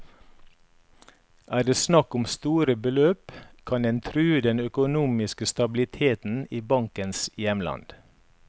Er det snakk om store beløp, kan den true den økonomiske stabiliteten i bankens hjemland.